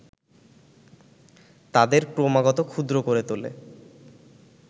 তাদের ক্রমাগত ক্ষুদ্র করে তোলে